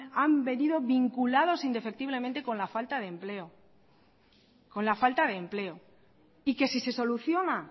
han venido vinculados indefectiblemente con la falta de empleo y que si se soluciona